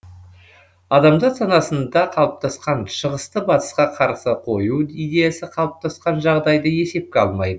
адамзат санасында қалыптасқан шығысты батысқа қарсы қою идеясы қалыптасқан жағдайды есепке алмайды